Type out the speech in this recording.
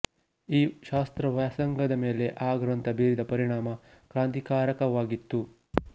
ಈ ಶಾಸ್ತ್ರವ್ಯಾಸಂಗದ ಮೇಲೆ ಆ ಗ್ರಂಥ ಬೀರಿದ ಪರಿಣಾಮ ಕ್ರಾಂತಿಕಾರಕವಾಗಿತ್ತು